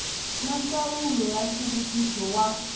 na ndzawulo ya nhluvukiso wa